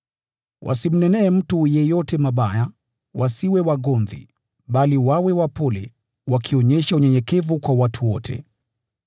Wasimnenee mtu yeyote mabaya, wasiwe wagomvi, bali wawe wapole, wakionyesha unyenyekevu kwa watu wote.